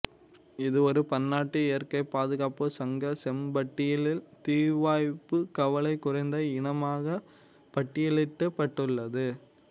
இது ஒரு பன்னாட்டு இயற்கைப் பாதுகாப்புச் சங்க செம்ம்பட்டியலில் தீவாய்ப்புக் கவலை குறைந்த இனமாகப் பட்டியலிடப்பட்டுள்ளது